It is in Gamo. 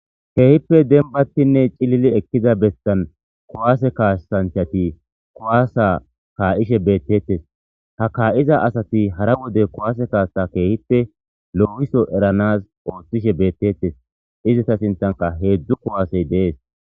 keehippe denbatinne cilili ekkiza bessan kowaase kaasanchati kowaasa kaa'ishe beettetes ha kaa'iza asati hara wode kowaase kaaa keehippe loo'iso eranas ooththishe beettettes izita sinthanka heedzdzu kuwaasey dees